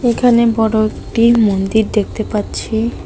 এখানে বড় একটি মন্দির দেখতে পাচ্ছি।